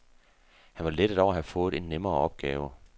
Han var lettet over at have fået en nemmere opgave.